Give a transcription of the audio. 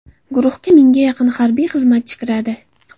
Guruhga mingga yaqin harbiy xizmatchi kiradi.